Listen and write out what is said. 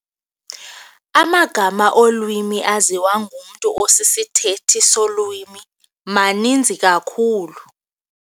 Amagama olwimi aziwa ngumntu osisithethi solwimi maninzi kakhulu.